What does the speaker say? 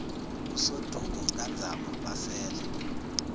usoduko kanzama basele